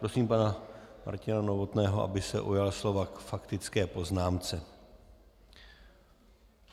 Prosím pana Martina Novotného, aby se ujal slova k faktické poznámce.